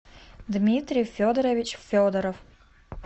дмитрий федорович федоров